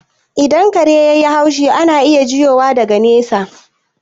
Idan kare yai haushi, ana iya jiyowa daga nesa